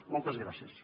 moltes gràcies